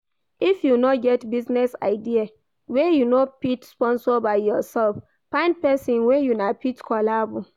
If you get business idea wey you no fit sponsor by yourself find person wey una fit collabo